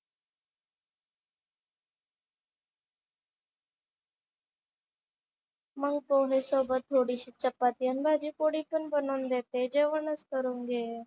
मग पोहे सोबत थोडीशी चपाती आणि भाजी पोळी पण बनवून देते. जेवणच करून घे.